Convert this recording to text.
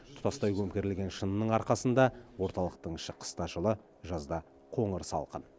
тұтастай көмкерілген шынының арқасында орталықтың іші қыста жылы жазда қоңырсалқын